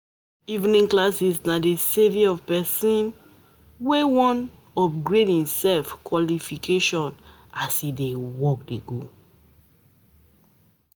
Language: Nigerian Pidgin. Evening classes na de saviour of pesin saviour of pesin wey wan um upgrade em um qualification as em dey work.